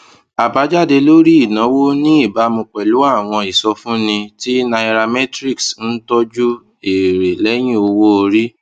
àbájáde lórí ìnáwó ní ìbámu pẹlú àwọn ìsọfúnni tí nairametrics ń tọjú èrè lẹyìn owó orí